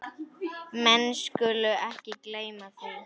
Menn skulu ekki gleyma því.